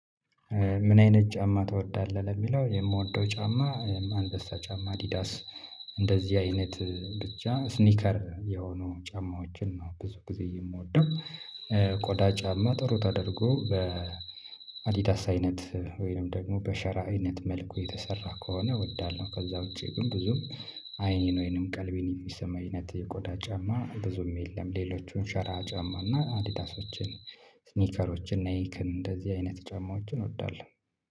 ምን? አይነት ጫማ ትወዳለህ ለሚለው የምወደው ጫማ አንበሳ ጫማ አዲዳስ እንደዚህ አይነት ብቻ ስኒከር የሆኑ ጫማዎችን ነው ብዙ ጊዜ የምወደው። ቆዳ ጫማ ጥሩ ተደርጎ በአዲዳስ አይነት ወይንም ደግሞ በሸራ አይነት መልኩ የተሰራ ከሆነ እወዳለሁ። ከዛ ውጪ ግን ብዙም አይኔን ወይንም ቀልቤን የሚሰማኝ አይነት የቆዳ ጫማ ብዙም የለም። ሌሎቹን ሸራ ጫማ እና አዲዳሶችን ስኒከሮችን እና ናይክን እንደዚህ አይነት ጫማዎችን እንወዳለን